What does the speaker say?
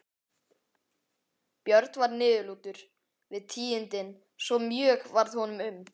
Björn varð niðurlútur við tíðindin svo mjög varð honum um.